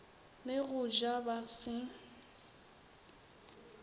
le go ja ba se